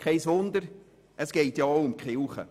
Kein Wunder, schliesslich geht es um die Kirche.